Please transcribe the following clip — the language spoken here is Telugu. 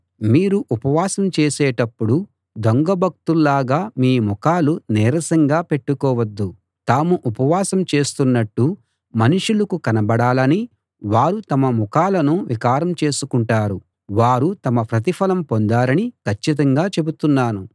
మీరు ఉపవాసం చేసేటప్పుడు దొంగ భక్తుల్లాగా మీ ముఖాలు నీరసంగా పెట్టుకోవద్దు తాము ఉపవాసం చేస్తున్నట్టు మనుషులకు కనబడాలని వారు తమ ముఖాలను వికారం చేసుకుంటారు వారు తమ ప్రతిఫలం పొందారని కచ్చితంగా చెబుతున్నాను